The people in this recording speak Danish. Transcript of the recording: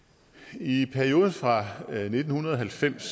i perioden fra nitten halvfems